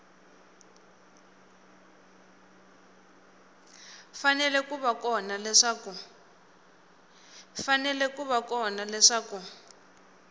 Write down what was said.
fanele ku va kona leswaku